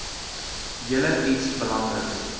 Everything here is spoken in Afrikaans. julle iets belangriks